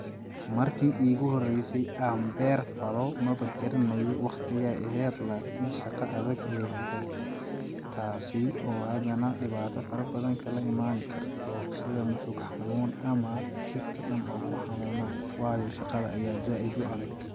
Marki iigu horeyse aan beer falo maba garanaayi waqtigeey aheed laakin shaqa adag ayeey aheed ,taasi oo hadana dhibaata fara badana kaala imaani karto sida moxog xanuun ama jirka dhan oo ku xanuuno waayo shaqada ayaa zaaid u adag.